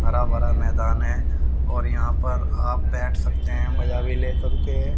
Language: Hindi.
हरा भरा मैदान है और यहां पर आप बैठ सकते हैं मजा भी ले सकते हैं।